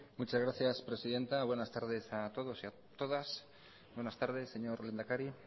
muchas gracias presidenta buenas tardes a todos y a todas buenas tardes señor lehendakari